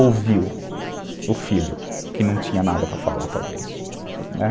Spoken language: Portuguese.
ouviu o filho, que não tinha nada para falar, talvez.